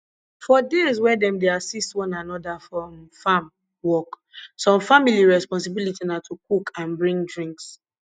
for days wey dem dey assist one another for um farm work some family responsibility na to cook and bring drinks